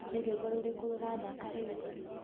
ni rwĩmbo rũrĩkũ rurathaka riu